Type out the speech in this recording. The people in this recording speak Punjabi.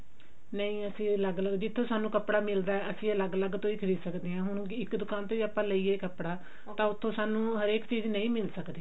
ਨਹੀ ਅਸੀਂ ਅਲੱਗ ਲੱਗ ਜਿੱਥੋਂ ਸਾਨੂੰ ਕੱਪੜਾ ਮਿਲਦਾ ਅਸੀਂ ਅਲੱਗ ਲੱਗ ਤੋਂ ਹੀ ਖਰੀਦ ਸਕਦੇ ਹਾਂ ਹੁਣ ਇੱਕ ਦੁਕਾਨ ਤੋਂ ਹੀ ਲਈਏ ਕੱਪੜਾ ਤਾਂ ਉੱਥੋਂ ਸਾਨੂੰ ਹਰੇਕ ਚੀਜ਼ ਨਹੀ ਮਿਲ ਸਕਦੀ